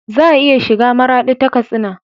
Za a iya shiga maradi ta katsina